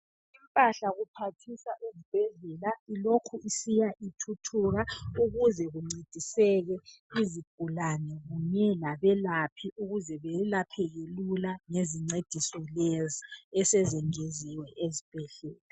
Impahla iphathisa ezibhedlela ilokhu isiya ithuthuka sebeze bencediseke izigulalne kunye labelaphi ukuze beyelapheke lula ngezincediso lezi esezingeziwe ezibhedlela.